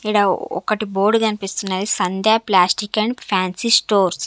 ఈడ ఒకటి బోర్డ్ కనిపిస్తున్నది Sandhya plastic and fancy stores .